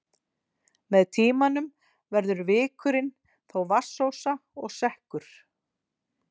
Með tímanum verður vikurinn þó vatnsósa og sekkur.